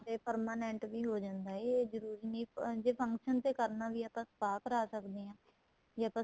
ਤੇ permanent ਵੀ ਹੋ ਜਾਂਦਾ ਏ ਏ ਜਰੂਰੀ ਨਹੀਂ ਜ਼ੇ function ਤੇ ਕਰਨਾ ਵੀ ਏ ਤਾਂ spa ਕਰਾ ਸਕਦੇ ਹਾਂ ਜੇ ਆਪਾਂ